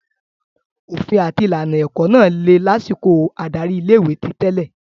Òfin àti ìlànà ilé-ẹ̀kọ́ náà le lásìkò adarí ilé-ìwé ti tẹ́lẹ̀.